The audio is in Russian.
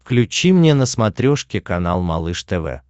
включи мне на смотрешке канал малыш тв